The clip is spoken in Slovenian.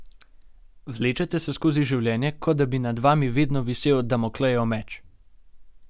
Vlečete se skozi življenje, kot da bi nad vami vedno visel Damoklejev meč.